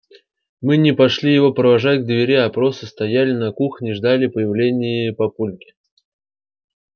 мы не пошли его провожать к двери а просто стояли на кухне и ждали появления папульки